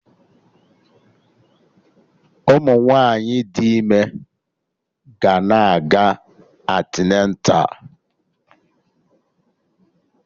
Ụmụ nwaanyị dị ime ga na-aga antịneta